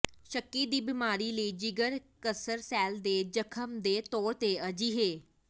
ਸ਼ੱਕੀ ਦੀ ਬੀਮਾਰੀ ਲਈ ਜਿਗਰ ਕਸਰ ਸੈੱਲ ਦੇ ਜਖਮ ਦੇ ਤੌਰ ਤੇ ਅਜਿਹੇ